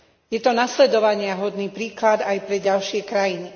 Je to nasledovaniahodný príklad aj pre ďalšie krajiny.